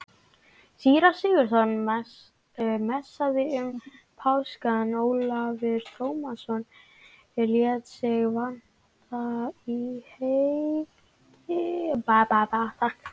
Síra Sigurður messaði um páskana, Ólafur Tómasson lét sig vanta í helgihaldið.